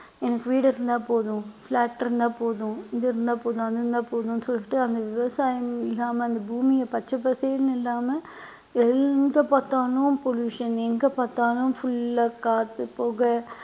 எனக்கு வீடு இருந்தா போதும் flat இருந்தா போதும் இது இருந்தா போதும் அது இருந்தா போதும்ன்னு சொல்லிட்டு அந்த விவசாயம் இல்லாம அந்த பூமியை பச்சை பசேல்ன்னு இல்லாம எங்க பார்த்தாலும் pollution எங்க பார்த்தாலும் full ஆ காத்து புகை